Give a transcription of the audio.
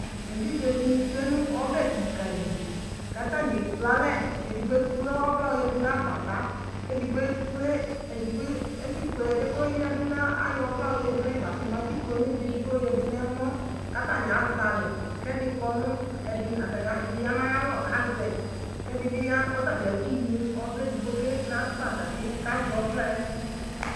Evidze dini tsue nu ɔbɛ ka li katani ekple alɛ ekple edigbo nu agbata edigbo koya du nu agbata asikple ɔvla di yadu nɛmɔ katani azalɛ edi yanu ayalɔkazɛ kɛdi biya nu ayalɔ kuekple evidze di ya nu agbata